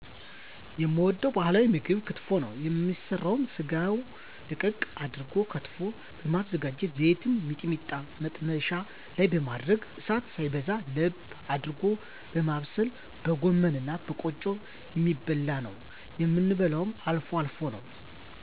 የምወደዉ ባህላዊ ምግብ ክትፎ ነዉ የሚሰራዉ ስጋዉን ደቀቅ አድርጎ ከትፎ በማዘጋጀት ዘይትና ሚጥሚጣ መጥበሻ ላይ በማድረግ እሳት ሳይበዛ ለብ አድርጎ በማብሰል በጎመንእና በቆጮ የሚበላነዉ የምበላዉ አልፎ አልፎ ነዉ